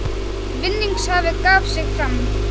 Vinningshafi gaf sig fram